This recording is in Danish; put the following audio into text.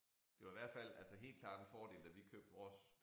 Det var i hvert fald altså helt klart en fordel da vi købte vores